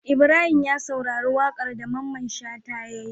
Ibrahim ya saurari waƙar da mamman shata yayi